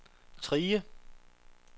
Trige